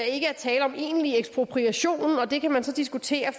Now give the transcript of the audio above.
ikke er tale om egentlig ekspropriation og det kan man så diskutere